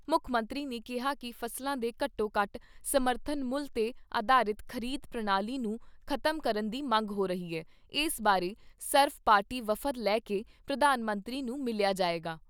ਮੁੱਖ ਮੰਤਰੀ ਨੇ ਕਿਹਾ ਕਿ ਫ਼ਸਲਾਂ ਦੇ ਘੱਟੋ ਘੱਟ ਸਮਰਥਨ ਮੁੱਲ 'ਤੇ ਅਧਾਰਿਤ ਖ਼ਰੀਦ ਪ੍ਰਣਾਲੀ ਨੂੰ ਖ਼ਤਮ ਕਰਨ ਦੀ ਮੰਗ ਹੋ ਰਹੀ ਐ, ਇਸ ਬਾਰੇ ਸਰਵ ਪਾਰਟੀ ਵਫਦ ਲੈ ਕੇ ਪ੍ਰਧਾਨ ਮੰਤਰੀ ਨੂੰ ਮਿਲਿਆ ਜਾਏਗਾ।